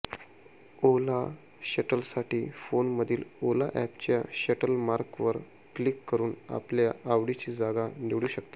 ओला शटलसाठी फोनमधील ओला अॅपच्या शटल मार्कवर क्लिक करुन आपल्या आवडीची जागा निवडू शकता